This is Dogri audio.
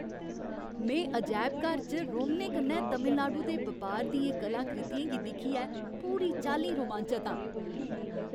में अजैबघर च रोमनें कन्नै तमिलनाडु दे बपार दियें कलाकृतियें गी दिक्खियै पूरी चाल्ली रोमांचत आं।